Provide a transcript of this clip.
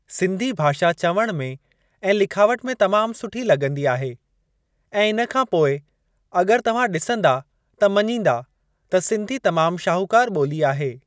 सिंधी भाषा चवण में ऐं लिखावट में तमाम सुठी लॻंदी आहे ऐं इन खां पोइ अग॒रि तव्हां ॾिसंदा त मञींदा त सिंधी तमाम शाहूकार ॿोली आहे।